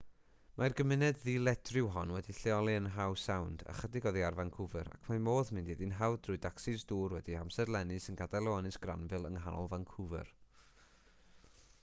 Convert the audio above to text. mae'r gymuned ddiledryw hon wedi'i lleoli yn howe sound ychydig oddi ar vancouver ac mae modd mynd iddi'n hawdd trwy dacsis dŵr wedi'u hamserlennu sy'n gadael o ynys granville yng nghanol vancouver